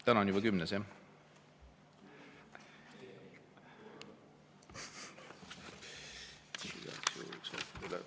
Täna on juba kümnes, jah?